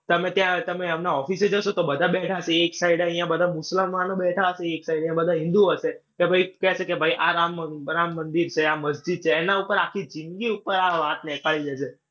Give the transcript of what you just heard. તમે ત્યાં તમે હમણાં office એ જશો તો બધા જ બેઠા હશે. એક side અઇયાં બધાં મુસલમાનો બેઠા હશે. એક side અઇયાં બધા હિન્દુઓ હશે. કે ભાઈ કહેશે કે આ રામ રામ મંદિર છે, આ મસ્જિદ છે. એના ઉપર આખી જિન્દગી ઉપર આ વાત નેકાળી દે છે.